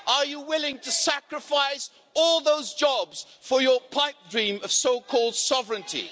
Are you willing to sacrifice all those jobs for your pipe dream of so-called sovereignty?